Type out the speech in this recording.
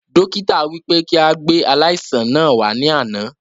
Dókítà wí pé kí a gbé aláìsàn náà wà ní àná